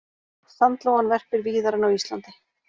Sandlóan verpir víðar en á Íslandi.